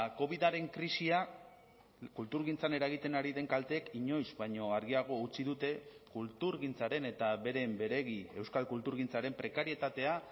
covidaren krisia kulturgintzan eragiten ari den kalteek inoiz baino argiago utzi dute kulturgintzaren eta beren beregi euskal kulturgintzaren prekarietatea